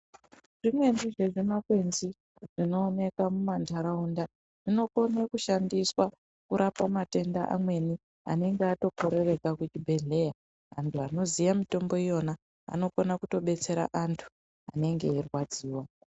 Zvimweni zvezvimakwenzi zvinooneka mumandaraunda zvinokone kushandiswa kurapa matenda amweni anenge atokorereka kuzvibhehleya. Antu anoziya mitombo iyona anokona kutobetsera antu anenge eirwadziwa.